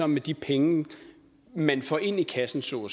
med de penge man får ind i kassen så